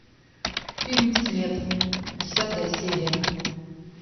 фильм след десятая серия